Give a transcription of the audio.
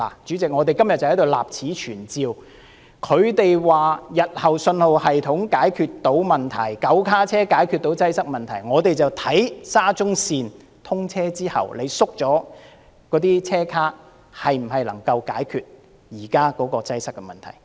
主席，我們今天立此存照，他們說日後信號系統可以解決問題 ，9 卡車可以解決擠塞問題，我們便看看沙中線通車後，縮減車卡是否能夠解決現在的擠塞問題。